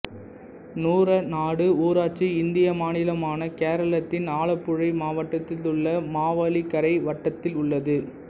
நூறநாடு ஊராட்சி இந்திய மாநிலமான கேரளத்தின் ஆலப்புழை மாவட்டத்திலுள்ள மாவேலிக்கரை வட்டத்தில் உள்ளது